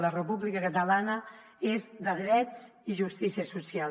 la república catalana és de drets i justícia social